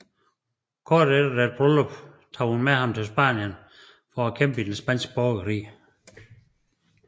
Kort efter deres bryllup tog hun med ham til Spanien for at kæmpe i den Spanske borgerkrig